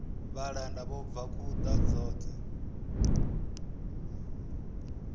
vhalanda vho bva khuḓa dzoṱhe